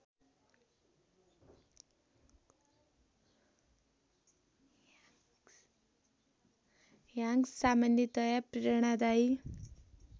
Hanks सामान्यतया प्रेरणादायी